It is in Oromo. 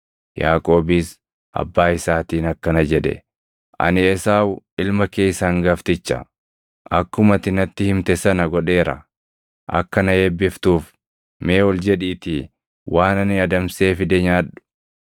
Yaaqoobis abbaa isaatiin akkana jedhe; “Ani Esaawu ilma kee isa hangafticha; akkuma ati natti himte sana godheera; akka na eebbiftuuf mee ol jedhiitii waan ani adamsee fide nyaadhu.”